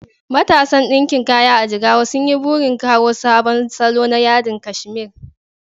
Matasan ɗinkin kaya a Jigawa sun yi burin kawo sabon salo na yadin kashmir